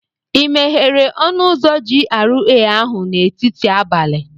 Ị meghere ọnụ ụzọ GRA ahụ n'etiti abalị?